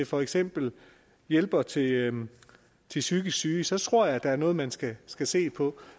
for eksempel hjælpere til hjælpere til psykisk syge så tror jeg at der er noget man skal skal se på